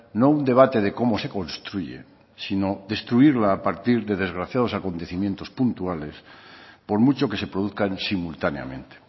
no un debate de cómo se construye sino destruirla a partir de desgraciados acontecimientos puntuales por mucho que se produzcan simultáneamente